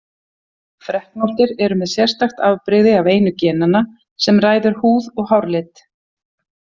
Freknóttir eru með sérstakt afbrigði af einu genanna sem ræður húð- og hárlit.